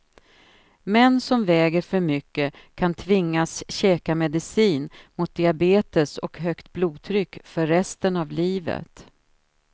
Män som väger för mycket kan tvingas käka medicin mot diabetes och högt blodtryck för resten av livet.